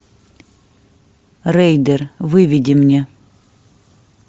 рейдер выведи мне